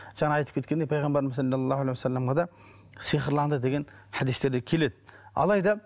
жаңа айтып кеткендей пайғамбарымыз сиқырланды деген хадистерде келеді алайда